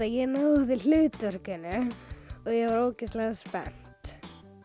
ég náði hlutverkinu og ég var ógeðslega spennt